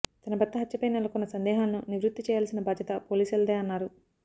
తన భర్త హత్యపై నెలకొన్న సందేహాలను నివృత్తి చేయాల్సిన బాధ్యత పోలీసులదే అన్నారు